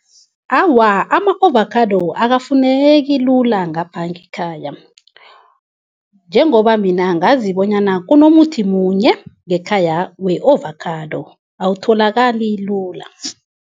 Awa, ama-ovakhado akufuneki lula ngapha ngekhaya. Njengoba mina ngazi bonyana kunomuthi munye ngekhaya we-ovakhado, awutholakali lula.